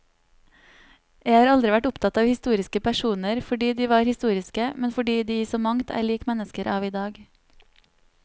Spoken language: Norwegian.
Jeg har aldri vært opptatt av historiske personer fordi de var historiske, men fordi de i så mangt er lik mennesker av i dag.